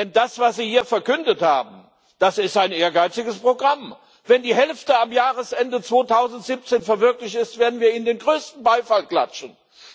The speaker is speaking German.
Denn das, was Sie hier verkündet haben, das ist ein ehrgeiziges Programm. Wenn die Hälfte am Jahresende 2017 verwirklicht ist, werden wir Ihnen den größten Beifall klatschen.